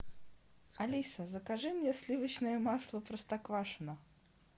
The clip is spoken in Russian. алиса закажи мне сливочное масло простоквашино